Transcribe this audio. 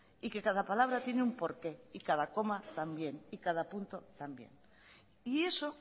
y que cada palabra tiene un por qué y cada coma también y cada punto también y eso